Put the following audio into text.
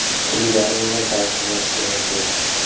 Ilgari bunday tartib mavjud emas edi.